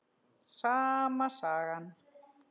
Sama sagan.